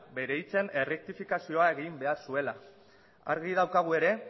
bere hitzen errektifikazioa egin behar zuela argi daukagu ere